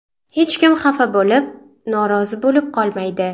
Hech kim xafa bo‘lib, norozi bo‘lib qolmaydi.